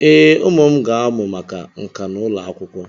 Ee, Ụmụ m ga-amụ maka nka n'ụlọ akwụkwọ.